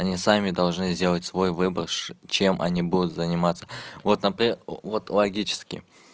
они сами должны сделать свой выбор чем они будут заниматься вот например вот логически